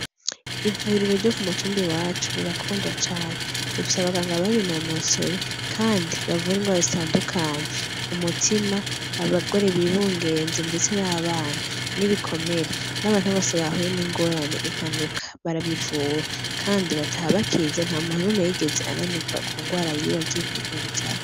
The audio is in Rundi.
Ivuririro ryo k'umutumba iwacu rirakundwa cane, dufise abaganga babinonosoye kandi bavura indwara zitandukanye, umutima, abagore bibungenze ndetse n'abana n'ibikomere, n'abantu bose bahuye n'ingorane n'impanuka barabivura kandi bataha bakize nta muntu numwe yigeze ananirwa kundwara yiwe agiye kwivuzaho.